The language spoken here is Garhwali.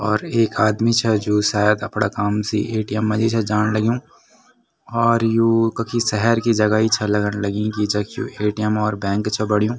और एक आदमी छा जू सायद अपड़ा काम से ए.टी.एम. मा जी छा जाण लग्युं और यु कखी सहर की जगह ही छा लगण लगीं की जख यु ए.टी.एम. और बैंक छा बणयूं।